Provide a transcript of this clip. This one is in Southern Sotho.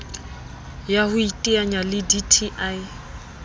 ya ho iteanya le dti